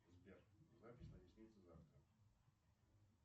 сбер запись на ресницы завтра